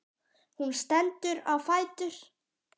Hún stendur á fætur.